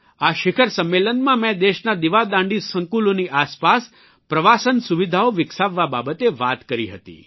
આ શિખર સંમેલનમાં મેં દેશના દીવાદાંડી સંકુલોની આસપાસ પ્રવાસન સુવિધાઓ વિકસાવવા બાબતે વાત કરી હતી